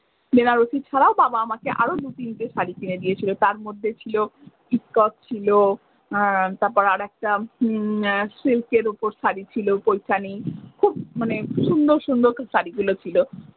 বেনারসি ছাড়াও বাবা আমকে আরও দু তিনটে শাড়ি কিনে দিয়েছিলো তার মধ্যে ছিল চিকক ছিল তারপর আর একটা সিল্কের উপর শাড়ি ছিল ওইখানেই খুব মানে সুন্দর সুন্দর শাড়ি গুলো ছিল।